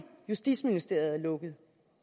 justitsministeriet lukker af